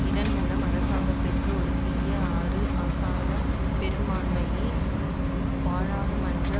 இதன் மூலம் அரசாங்கத்துக்கு ஒரு சிறிய ஆறு ஆசன பெரும்பான்மையை பாராளுமன்ற